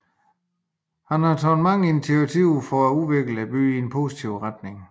Han har taget mange initiativer for at udvikle byen i en positiv retning